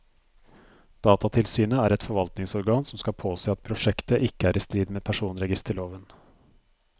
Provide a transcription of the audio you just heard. Datatilsynet er et forvaltningsorgan som skal påse at prosjektet ikke er i strid med personregisterloven.